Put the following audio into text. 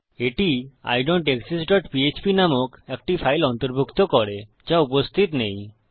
এটি I don't exist dot PHP নামক একটি ফাইল অন্তর্ভুক্ত করে যা উপস্থিত নেই